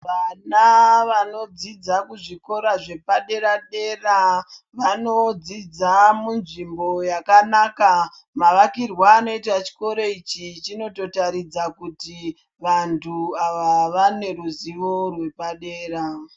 Vana vanodzidza kuzvikora zvepadera dera vanodzidza munzvimbo yakanaka. Mavakirwe anoitwa chikoro ichi chinotoratidza kuti vanhu ava vane ruzivo rwepadera.